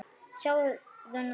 Sjáðu nú þetta!